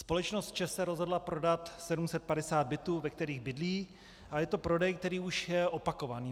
Společnost ČEZ se rozhodla prodat 750 bytů, ve kterých bydlí, a je to prodej, který už je opakovaný.